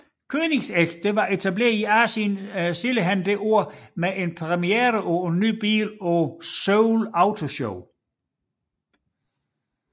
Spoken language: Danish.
Koenigsegg var etableret i Asien senere det år med en premiere på en ny bil på Seoul Auto Show